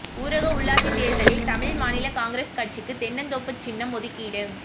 ஊரக உள்ளாட்சித் தேர்தலில் தமிழ் மாநில காங்கிரஸ் கட்சிக்கு தென்னந்தோப்பு சின்னம் ஒதுக்கீடு